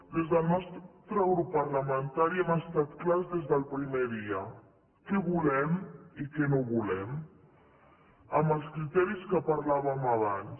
des del nostre grup parlamentari hem estat clars des del primer dia què volem i què no volem amb els criteris de què parlàvem abans